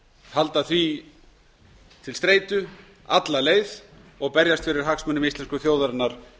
halda því til streitu alla leið og berjast fyrir hagsmunum íslensku þjóðarinnar